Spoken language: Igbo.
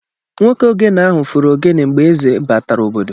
Nwoke ogene ahụ fụrụ ogene mgbe èzé batara obodo.